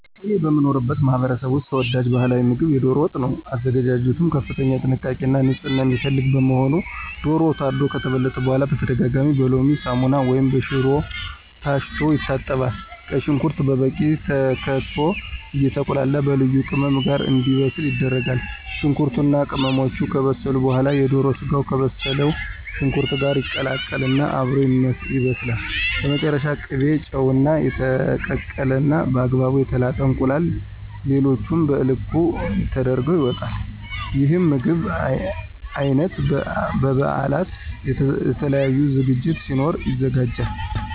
እኔ በምኖርበት ማህበረሰብ ውስጥ ተወዳጅ ባህላዊ ምግብ የዶሮ ወጥ ነው። አዘገጃጀቱ ከፍተኛ ጥንቃቄ እና ንፅህና የሚፈልግ በመሆኑ ዶሮው ታርዶ ከተበለተ በኋላ በተደጋጋሚ በሎሚ፣ ሳሙና ወይም በሽሮ ታሽቶ ይታጠባል። ቀይ ሽንኩርት በበቂ ተከትፎ አየተቁላላ በልዩ ልዩ ቅመም ጋር እንዲበስል ይደረጋል። ሽንኩርቱ እና ቅመሞቹ ከበሰሉ በኋላ የዶሮ ስጋው ከበሰለው ሽንኩርት ጋር ይቀላቀል እና አብሮ ይበስላል። በመጨረሻም ቅቤ፣ ጨው፣ እና የተቀቀለ እና በአግባቡ የተላጠ እንቁላል ሌሎቹም በልኩ ተደርገው ይወጣል። ይህ የምግብ አይነት በ በበአላት፣ የተለያዩ ዝግጅቶች ሲኖሩ ይዘጋጃል።